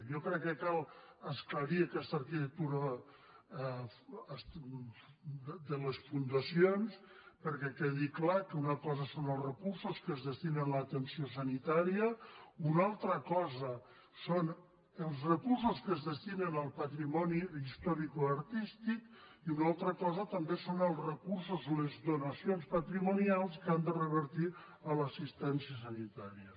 jo crec que cal esclarir aquesta arquitectura de les fundacions perquè quedi clar que una cosa són els re·cursos que es destinen a l’atenció sanitària una altra cosa són els recursos que es destinen al patrimoni his·toricoartístic i una altra cosa també són els recursos les donacions patrimonials que han de revertir a l’as·sistència sanitària